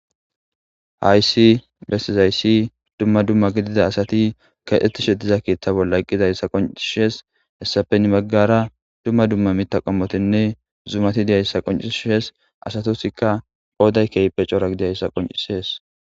haysi besizayssi dumma dumma gidida asati kaxettishe diza keththa bolla eqqidayssa qoncishes hessape hinni baggara dumma dumma mita qommotinne zumati diyayssa qoncishes asatusikka qooday kehpe cora gidiayssa qoncisees